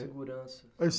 Segurança...